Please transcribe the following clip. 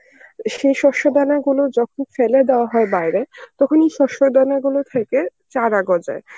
সে শস্য দানা গুলো যখন ফেলে দেওয়া হয় বাইরে তখন ওই শস্য দানা গুলো থেকে চারা গজায়.